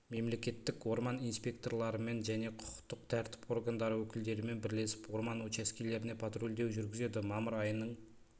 мемлекеттік орман инспекторларымен және құқықтық тәртіп органдары өкілдерімен бірлесіп орман учаскелеріне патрульдеу жүргізеді мамыр айының